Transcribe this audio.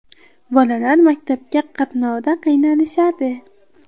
Bolalar maktabga qatnovda qiynalishadi.